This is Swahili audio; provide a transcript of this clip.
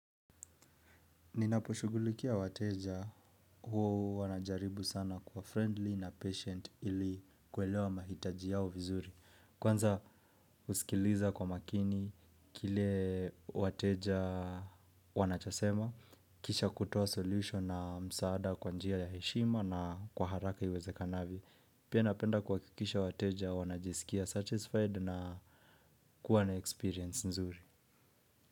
Ninaposhugulikia wateja hua najaribu sana kua friendly na patient ili kuelewa mahitaji yao vizuri. Kwanza uskiliza kwa makini kile wateja wanachosema, kisha kutoa solution na msaada kwa njia ya heshima na kwa haraka iwezekanavyo. Pia napenda kuhakikisha wateja wanajisikia satisfied na kuwa na experience nzuri.